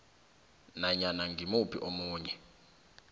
nanyana ngimuphi omunye